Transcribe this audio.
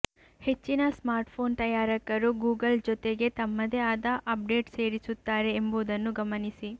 ಹೆಚ್ಚಿನ ಸ್ಮಾರ್ಟ್ಫೋನ್ ತಯಾರಕರು ಗೂಗಲ್ ಜೊತೆಗೆ ತಮ್ಮದೇ ಆದ ಅಪ್ಡೇಟ್ ಸೇರಿಸುತ್ತಾರೆ ಎಂಬುದನ್ನು ಗಮನಿಸಿ